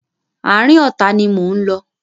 Àárín ọ̀tá ni mò ń lọ.